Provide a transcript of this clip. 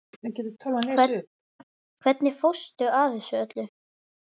Hvernig fórstu að þessu öllu?